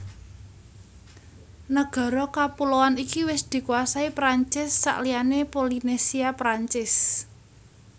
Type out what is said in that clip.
Nagara kepuloan iki wis dikuasai Perancis sakliyané Polinesia Perancis